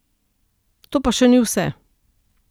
To pa še ni vse.